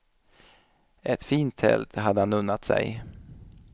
Ett fint tält hade han unnat sig.